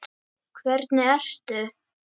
Hvernig ertu??